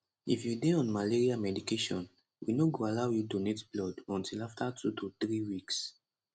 if you dey on malaria medication we no go allow you donate blood until afta 2 to 3 weeks